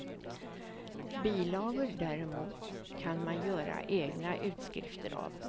Bilagor däremot kan man göra egna utskrifter av.